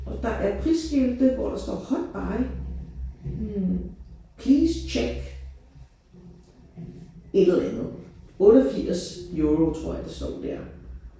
Og der er prisskilte hvor der står hot buy hm please check et eller andet. 88 euro tror jeg der står der